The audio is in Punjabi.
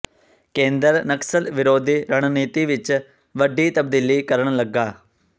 ਕੇਂਦਰ ਨਕਸਲ ਵਿਰੋਧੀ ਰਣਨੀਤੀ ਵਿੱਚ ਵੱਡੀ ਤਬਦੀਲੀ ਕਰਨ ਲੱਗਾ